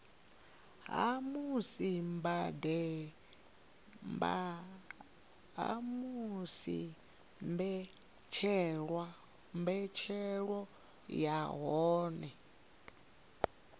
ha musi mbetshelo ya hoyu